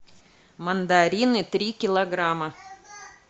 мандарины три килограмма